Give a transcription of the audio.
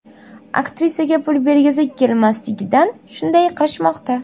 Aktrisaga pul bergisi kelmasligidan shunday qilishmoqda.